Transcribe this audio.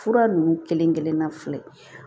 Fura ninnu kelen-kelenna filɛ